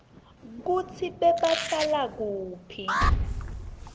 kutsi bebahlala kuphi